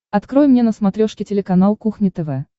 открой мне на смотрешке телеканал кухня тв